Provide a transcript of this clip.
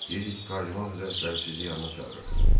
Deyirdi ki, Kardinal həzrətləri sizi yanına çağırır.